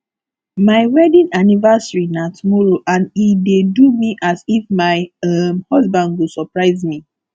my wedding anniversary na tomorrow and e dey do me as if my um husband go surprise me